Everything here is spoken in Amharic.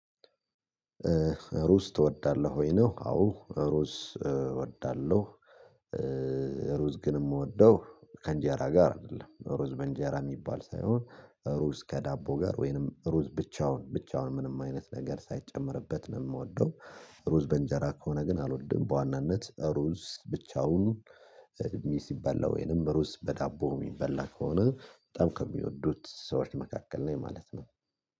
ሩዝ ትወዳለህ ወይ ነው? አዎ ሩዝ እወዳለሁ። ሩዝ ግን የምወደው ከእንጀራ ጋር አይደለም ሩዝ በእንጀራ የሚባል ሳይሆን ሩዝ ከዳቦ ጋር ወይንም ሩዝ ብቻውን ብቻውን ምንም አይነት ነገር ሳይጨመርበት ነው የምወደው። ሩዝ በእንጀራ ከሆነ ግን አልወድም በዋናነት ሩዝ ብቻውን ሲበላ ወይንም ሩዝ በዳቦ የሚበላ ከሆነ በጣም ከሚወዱት ሰዎች መካከል ነኝ ማለት ነው።